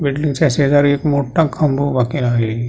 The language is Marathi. बिल्डिंगच्या शेजारी एक मोठा खांब उभा केला आहे.